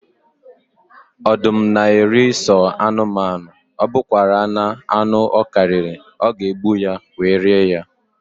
Ọdụm na eri sọ anụmanụ, ọbụkwanara anụ ọ karịrị, ọ ga egbu ya, wee rie ya